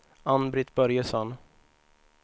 Ann-Britt Börjesson